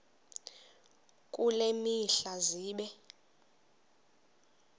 kule mihla zibe